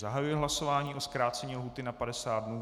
Zahajuji hlasování o zkrácení lhůty na 50 dnů.